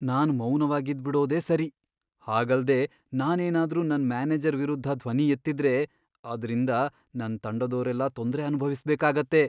ನಾನ್ ಮೌನವಾಗಿದ್ಬಿಡೋದೇ ಸರಿ. ಹಾಗಲ್ದೇ ನಾನೇನಾದ್ರೂ ನನ್ ಮ್ಯಾನೇಜರ್ ವಿರುದ್ಧ ಧ್ವನಿ ಎತ್ತಿದ್ರೆ ಅದ್ರಿಂದ ನನ್ ತಂಡದೋರೆಲ್ಲ ತೊಂದ್ರೆ ಅನ್ಭವಿಸ್ಬೇಕಾಗತ್ತೆ.